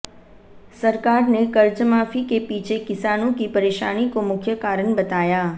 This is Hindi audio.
सरकार ने कर्जमाफी के पीछे किसानों की परेशानी को मुख्य कारण बताया